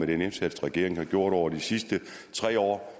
den indsats regeringen har gjort over de sidste tre år